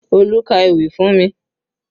Olú ka ewì fún mi